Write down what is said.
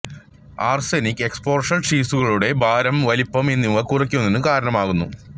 arsenic exposure ശിസുക്കളുടെ ഭാരം വലുപ്പം എന്നിവ കുറയുന്നതിന് കാരണമാകുന്നു